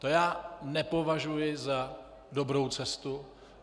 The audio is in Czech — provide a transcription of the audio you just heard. To já nepovažuji za dobrou cestu.